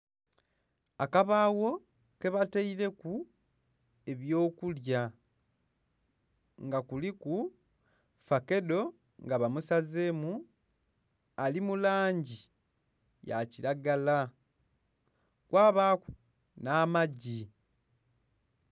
Akabaagho kebataileku ebyokulya, nga kuliku fakedho nga bamusazeemu, ali mu langi yakilagala, kwabaaku n'amagi